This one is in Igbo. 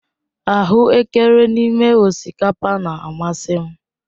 Ahuekere n'ime osikapa na-amasị m.